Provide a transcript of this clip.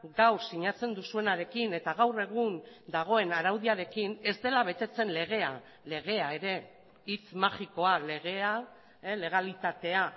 gaur sinatzen duzuenarekin eta gaur egun dagoen araudiarekin ez dela betetzen legea legea ere hitz magikoa legea legalitatea